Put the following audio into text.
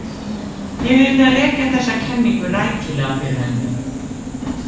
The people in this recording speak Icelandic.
Ég yrði að rekja þessa kenningu rækilega fyrir henni.